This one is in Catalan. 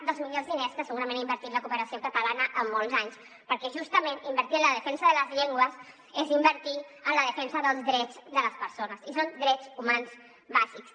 dels millors diners que segurament ha invertit la cooperació catalana en molts anys perquè justament invertir en la defensa de les llengües és invertir en la defensa dels drets de les persones i són drets humans bàsics